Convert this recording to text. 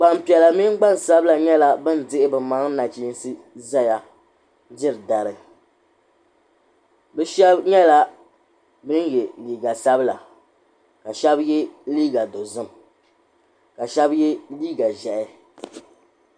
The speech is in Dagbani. Gbanpiɛla mini gbansabila nyɛla bin dihi bi maŋa nachiinsi zaya diri dari bi shɛba nyɛla bin yɛ liiga sabila ka shɛba yɛ liiga dozim ka shɛba yɛ liiga ʒiɛhi.